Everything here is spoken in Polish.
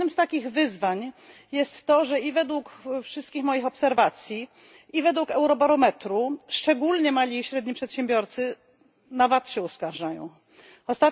Jednym z takich wyzwań jest to, że według wszystkich moich obserwacji i według eurobarometru, szczególnie mali i średni przedsiębiorcy uskarżają się na VAT.